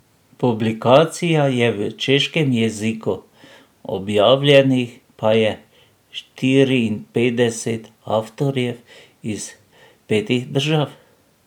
Publikacija je v češkem jeziku, objavljenih pa je štiriinpetdeset avtorjev iz petih držav.